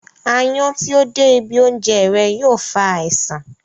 Áyán tí ó dé ibi oúnjẹ rẹ̀ yóò fa àisàn